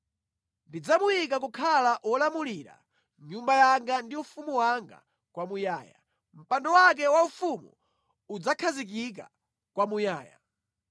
Ndidzamuyika kukhala wolamulira nyumba yanga ndi ufumu wanga kwamuyaya. Mpando wake waufumu udzakhazikika kwamuyaya.’ ”